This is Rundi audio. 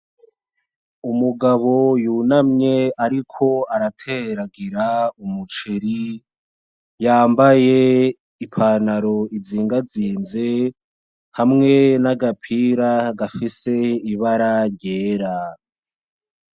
Umugabo yunamye ariko arateragira umuceri, yambaye ipantaro izigazize hamwe n'agapira gafise ibara ryera.